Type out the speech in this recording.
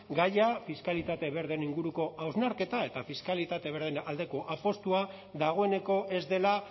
gaia fiskalitate berdeen inguruko hausnarketa eta fiskalitate berdeen aldeko apustua dagoeneko ez dela